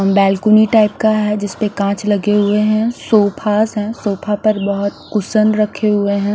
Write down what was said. Balcony type का है जिसपे काच लगे हुए है सोफास है सोफा पर बोहोत कुसन रखे हुए है।